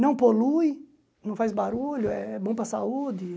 Não polui, não faz barulho, é bom para a saúde.